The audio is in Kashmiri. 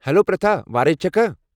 ہیلو پرِتھا۔ وارے چھکھا؟